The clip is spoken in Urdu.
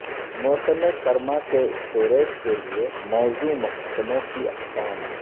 موسم سرما کے اسٹوریج کے لئے موزوں محکموں کی اقسام